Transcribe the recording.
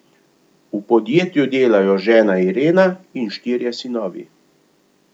V podjetju delajo žena Irena in štirje sinovi.